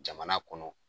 Jamana kɔnɔ